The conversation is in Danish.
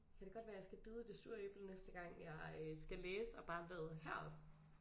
Kan det godt være jeg skal bide i det sure æble næste gang jeg øh skal læse og bare vade herop